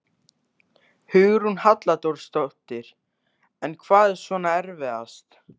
Hugrún Halldórsdóttir: En hvað er svona erfiðast?